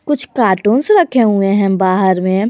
कुछ कार्टून्स रखे हुए हैं बाहर में।